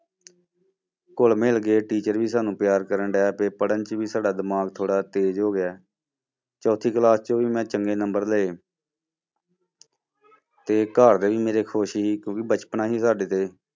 ਘੁੱਲ ਮਿਲ ਗਏ teacher ਵੀ ਸਾਨੂੰ ਪਿਆਰ ਕਰਨ ਲੱਗ ਪਏ, ਪੜ੍ਹਨ 'ਚ ਵੀ ਸਾਡਾ ਦਿਮਾਗ ਥੋੜ੍ਹਾ ਤੇਜ਼ ਹੋ ਗਿਆ, ਚੌਥੀ class ਚੋਂ ਵੀ ਮੈਂ ਚੰਗੇ number ਲਏ ਤੇ ਘਰਦੇ ਵੀ ਮੇਰੇ ਖ਼ੁਸ਼ ਸੀ ਕਿਉਂਕਿ ਬਚਪਨਾ ਸੀ ਸਾਡੇ ਤੇ।